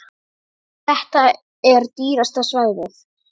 Þetta er dýrasta svæðið.